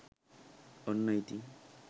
ඔන්න ඉතින්